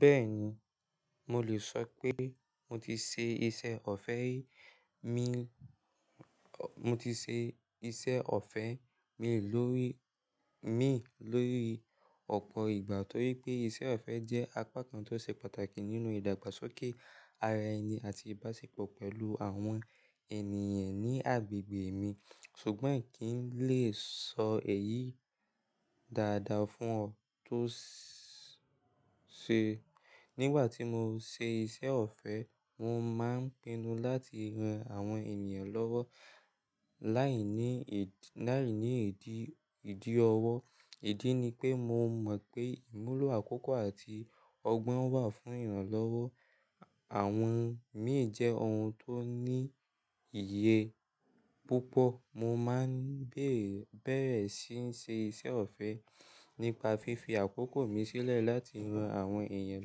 Bẹ́ẹ̀ni, mo lè sọpé mo ti ṣe iṣẹ́ ọ̀fẹ́ ri mi, mo ti ṣe iṣẹ́ ọ̀fẹ́ mi lórí, min lórí ọ̀pọ̀ ìgbà torí pé iṣẹ́ ọ̀fẹ́ jẹ́ apakan tó ṣe pàtàkì nínú ìdàgbàsókè ara ẹni àti ìbáṣepọ̀ pẹ̀lú àwọn ènìyàn ní agbègbè mi. Ṣùgbọ́n in kì n lè sọ èyí dáadáa fún ọ tó ṣe. Nígbà tí mo ṣe iṣẹ́ ọ̀fẹ́, mo máa ń pinnu láti ran àwọn ènìyàn lọ́wọ́ láìní, láìní ìdí, ìdí ọwọ́. Ìdí ni pé mo mọ̀ pé ìmúlò àkókò àti ọgbọ́n wà fún ìrànlọ́wọ́. Àwọn míì jẹ́ ohun tó ní iye púpọ̀. Mo máa ń bẹ̀rẹ̀ síí n ṣe iṣẹ́ ọ̀fẹ́ nípa fífi àkókò mi sílẹ̀ láti ran àwọn èèyàn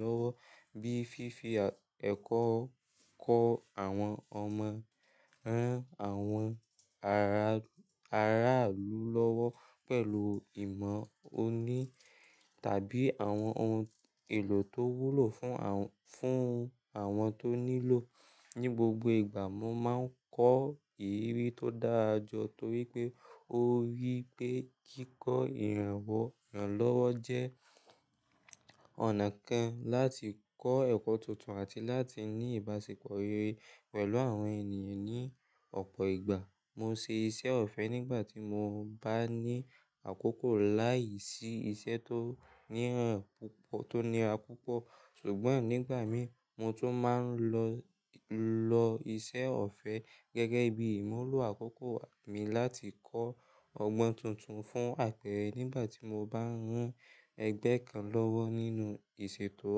lọ́wọ́ bíi fífi ẹ̀kọ́ kọ́ àwọn ọmọ, rán àwọn aráàlú lọ́wọ́ pẹ̀lú ìmọ̀ oni tàbí àwọn ohun èlò tó wúlò fún, fún àwọn tó nílò. Ni gbogbo ìgbà mo máa ń kọ́ ìrírí tó dára jọ torí pé ó rí pé kíkọ́ ìrànwọ́ ìrànlọ́wọ́ jẹ́ ọ̀nà kan láti kọ́ ẹ̀kọ́ tuntun àti láti ní ìbáṣepọ̀ rere pẹ̀lú àwọn ènìyàn ní ọ̀pọ̀ ìgbà. Mo ṣe iṣẹ́ ọ̀fẹ́ nígbà tí mo bá ní àkókò láìsí iṣẹ́ tó níra púpọ̀, tó níra púpọ̀. Ṣùgbọ́n nígbà mi mo tún máa ń lo, lo iṣẹ́ ọ̀fẹ́ gẹ́gẹ́ bí ìmúlò àkókò mi láti kọ́ ọgbọ́n tuntun fún àpẹ̀rẹ̀ nígbà tí mo bá ń rán ẹgbẹ́ kan lọ́wọ́ nínú ìṣètò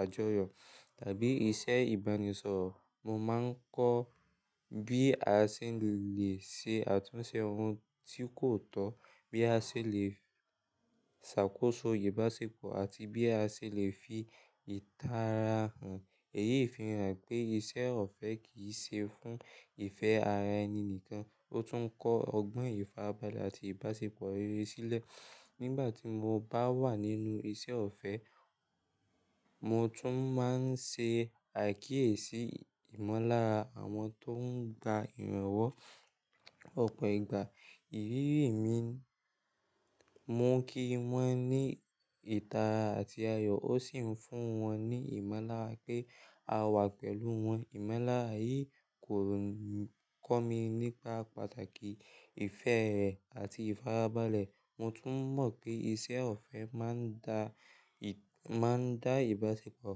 àjọyọ̀ tàbí iṣẹ́ ìbánisọ̀rọ̀. Mo máa ń kọ́ bí a ṣe lè ṣe àtúnṣe ohun tí kò tọ́, bí a ṣe lè ṣàkóso ìbáṣepọ̀ àti bí a ṣe lè fi ìtara hàn. Èyí fi hàn pé iṣẹ́ ọ̀fẹ́ kì í ṣe fún ìfẹ́ ara ẹni nìkan, ó tún ń kọ́ ọgbọ́n ìfarabalẹ̀ àti ìbáṣepọ̀ rere sílẹ̀. Nígbà tí mo bá wà nínú iṣẹ́ ọ̀fẹ́, mo tún máa ń ṣe àkíyèsí ìmọ̀lára àwọn tó ń gba ìrànwọ́ ọ̀pọ̀ ìgbà. Ìrírí mi, mo ń kí wọ́n ní ìtara àti ayọ̀ ó sì ń fún wọn ní ìmọ̀lára pé a wà pẹ̀lú wọn. Ìmọ̀lára yìí kò kọ́ mi nípa pàtàkì ìfẹ́ re àti ìfarabalẹ̀. Mo tún mọ̀ pé iṣẹ́ ọ̀fẹ́ máa ń dá, máa ń dá ìbáṣepọ̀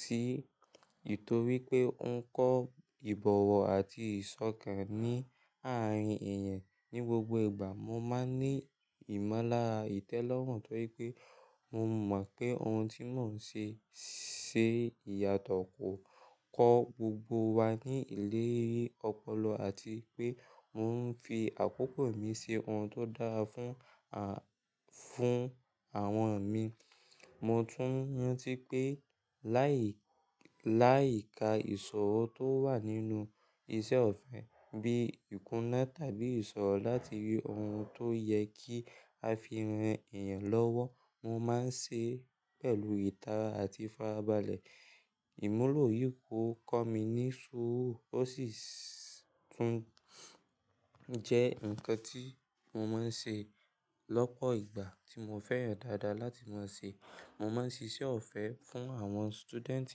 sí ìtorí pé ó ń kọ́ ìbọ̀wọ̀ àti ìsọ̀kan ní àárín èèyàn. Ni gbogbo ìgbà mo máa ní ìmọ̀lára ìtẹ́lọ́rùn torí pé mo mọ̀ pé ohun tí mò ń ṣe ṣe ìyàtọ̀ kò kọ́ gbogbo wa ní ilé ọpọlọ àti pé mò ń fi àkókò mi ṣe ohun tó dára fún, fún àwọn mi. Mo tún rantí pé láì, láì ka ìṣòro tó wà nínú iṣẹ́ ọ̀fẹ́ bíi ìkúnà tàbí ìṣòro láti rí ohun tó yẹ kí a fi ran èèyàn lọ́wọ́, mo máa ń ṣe pẹ̀lú ìtara àti ìfarabalẹ̀. Ìmúlò yìí ò kọ́ mi ní ṣúrù ó sì tún jẹ́ nǹkan tí mo máa ń ṣe lọ́pọ̀ ìgbà tí mo fẹ́ràn dáadáa láti máa ṣe. Mo máa ń ṣiṣẹ́ ọ̀fẹ́ fún àwọn student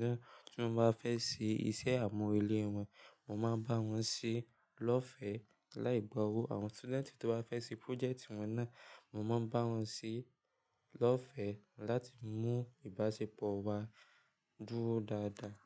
náà tí wọ́n bá fẹ́ ṣe iṣẹ́ àmúrelé wọn. Mo máa bá wọn ṣe lọ́fẹ̀ẹ́ láì gba owó. Àwọn student tó bá fẹ́ ṣe project wọn náà, mo máa ń bá wọn ṣe lọ́fẹ̀ẹ́ láti mú ìbáṣepọ̀ wa dúró dáadáa.